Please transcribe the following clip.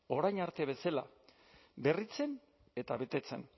orain arte bezala berritzen eta betetzen